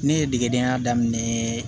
Ne ye degedenya daminɛ